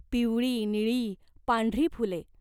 पिवळी, निळी, पांढरी फुले.